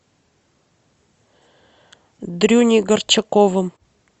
дрюней горчаковым